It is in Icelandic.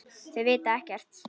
Þau vita ekkert.